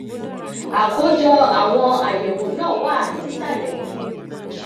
àkójọ àwọn àyẹwò náà wà nísàlẹ yìí